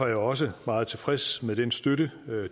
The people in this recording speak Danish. jeg også meget tilfreds med den støtte